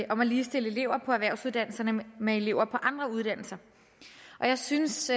om at ligestille elever på erhvervsuddannelserne med elever på andre uddannelser jeg synes